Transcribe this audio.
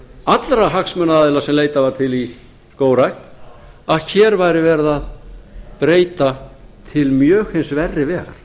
allra hagsmunaaðila sem leitað var til í skógrækt að hér væri veri að breyta til mjög hins verri vegar